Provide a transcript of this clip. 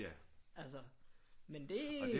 Altså men det